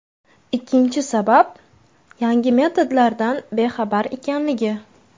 Ikkinchi sabab: Yangi metodlardan bexabar ekanligi.